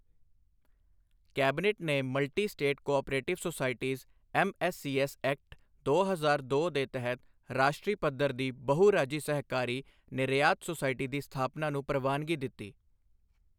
Cabinet ਨੇ multi state cooperative societies MSCS act, ਦੋ ਹਜ਼ਾਰ ਦੋ ਦੇ ਤਹਿਤ ਰਾਸ਼ਟਰੀ ਪੱਧਰ ਦੀ ਬਹੁ ਰਾਜੀ ਸਹਿਕਾਰੀ ਨਿਰਯਾਤ ਸੁਸਾਇਟੀ ਦੀ ਸਥਾਪਨਾ ਨੂੰ ਪ੍ਰਵਾਨਗੀ ਦਿੱਤੀ।